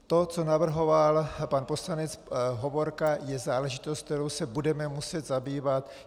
To, co navrhoval pan poslanec Hovorka, je záležitost, kterou se budeme muset zabývat.